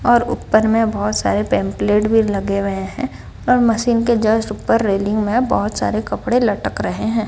और ऊपर में बहोत सारे पैम्पलेट भी लग रहे है और मशीन के जस्ट ऊपर रेलिंग में बहोत सारे कपड़े लटक रहे है।